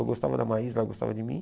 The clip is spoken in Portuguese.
Eu gostava da Maísa, ela gostava de mim.